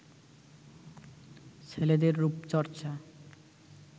ছেলেদের রুপচর্চা